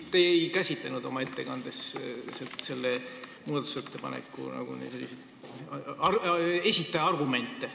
Te ei käsitlenud oma ettekandes selle muudatusettepaneku esitaja argumente.